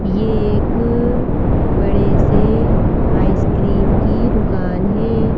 ये एक बड़े से आइसक्रीम की दुकान है।